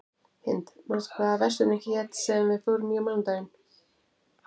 Hind, manstu hvað verslunin hét sem við fórum í á mánudaginn?